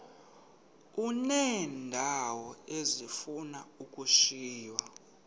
uneendawo ezifuna ukushiywa